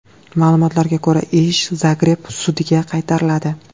Ma’lumotlarga ko‘ra, ish Zagreb sudiga qaytariladi.